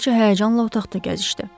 Kraliçə həyəcanla otaqda gəzişdi.